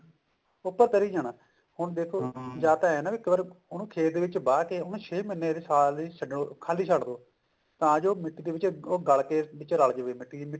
ਉੱਪਰ ਤਰੀ ਜਾਣਾ ਜਾਂ ਤਾਂ ਦੇਖੋ ਏਵੇਂ ਹੈ ਉਹਨੂੰ ਇੱਕ ਵਾਰ ਖੇਤ ਵਿੱਚ ਵਾਹ ਕੇ ਉਹਨੂੰ ਛੇ ਮਹੀਨੇ ਲਈ ਸਾਲ ਲਈ ਛੱਡ ਖਾਲੀ ਛੱਡ ਦੋ ਤਾਂ ਜੋ ਉਹ ਮਿੱਟੀ ਦੇ ਨੀਚੇ ਗਲ ਕੇ ਉਹ ਵਿੱਚ ਰਲ ਜਾਵੇ ਮਿੱਟੀ ਦੇ